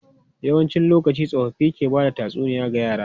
Yawancin lokaci, tsofaffi ke ba da tatsuniya ga yara.